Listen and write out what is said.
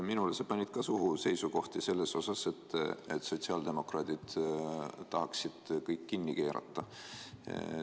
Minule sa panid ka seisukohti suhu: sotsiaaldemokraadid justkui tahaksid kõik kinni keerata.